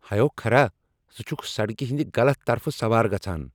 ہیو كھرا ۔ ژٕ چُھكھ سڑکہِ ہنٛدِ غلط طرفہٕ سوار گژھان۔